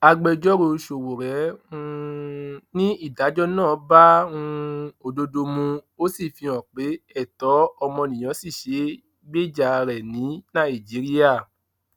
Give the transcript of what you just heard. agbẹjọrò sowore um ni ìdájọ náà bá um òdodo mu ó sì fihàn pé ẹtọ ọmọnìyàn ṣì ṣeé gbèjà rẹ ní nàìjíríà